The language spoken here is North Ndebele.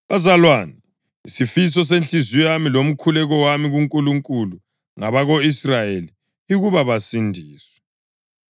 Bazalwane, isifiso senhliziyo yami lomkhuleko wami kuNkulunkulu ngabako-Israyeli yikuba basindiswe.